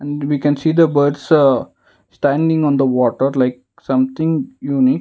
we can see the birds ah standing on the water like something unique.